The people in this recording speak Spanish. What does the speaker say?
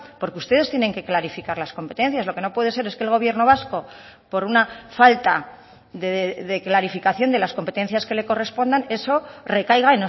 porque ustedes tienen que clarificar las competencias lo que no puede ser es que el gobierno vasco por una falta de clarificación de las competencias que le correspondan eso recaiga